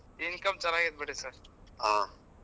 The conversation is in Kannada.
Income ಚನ್ನಾಗ್ ಐತಿ ಬಿಡಿ sir .